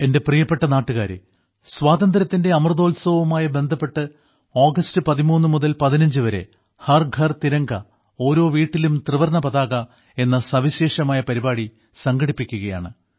എന്റെ പ്രിയപ്പെട്ട നാട്ടുകാരേ സ്വാതന്ത്ര്യത്തിന്റെ അമൃതോത്സവവുമായി ബന്ധപ്പെട്ട് ആഗസ്റ്റ് 13 മുതൽ 15 വരെ ഹർ ഘർ തിരംഗ ഓരോ വീട്ടിലും ത്രിവർണ്ണ പതാക എന്ന സവിശേഷമായ പരിപാടി സംഘടിപ്പിക്കുകയാണ്